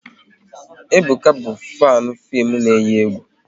Ebuka bụ fanu fim na eyi egwu